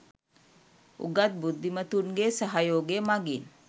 උගත් බුද්ධිමතුන්ගේ සහයෝගය මගින්